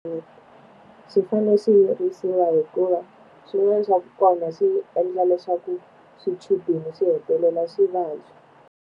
swi fanele swi yirisiwa hikuva swin'wana swa kona swi endla leswaku swichudeni swi hetelela swi vabya.